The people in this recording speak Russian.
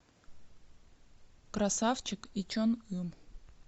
красавчик и чон ым